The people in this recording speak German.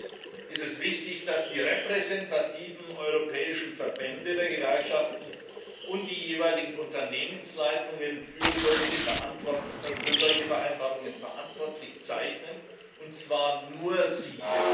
Erstens ist es wichtig, dass die repräsentativen europäischen Verbände der Gewerkschaften und die jeweiligen Unternehmensleitungen für solche Vereinbarungen verantwortlich zeichnen, und zwar nur sie.